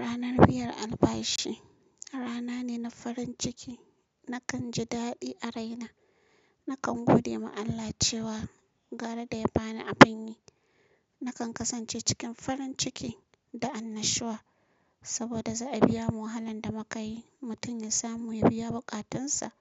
Ranar biyar albashi rana ne na farin ciki nakan ji daɗi a raina. Nakan gode ma Allah cewa gara da ya bani a fanni, nakan kasance cikin farin ciki da annashuwa saboda zaa biya mu wahalar da mukayi mutum yasamu yabiya bukatunsa